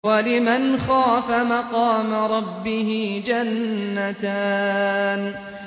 وَلِمَنْ خَافَ مَقَامَ رَبِّهِ جَنَّتَانِ